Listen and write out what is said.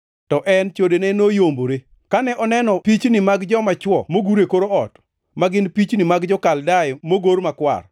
“To en chodene noyombore. Kane oneno pichni mag joma chwo mogur e kor ot, ma gin pichni mag jo-Kaldea mogor makwar,